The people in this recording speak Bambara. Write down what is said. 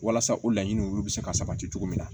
Walasa o laɲini olu bɛ se ka sabati cogo min na